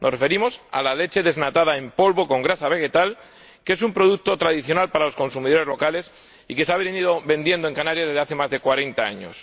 Nos referimos a la leche desnatada en polvo con grasa vegetal, que es un producto tradicional para los consumidores locales y que se ha venido vendiendo en Canarias desde hace más de 40 años.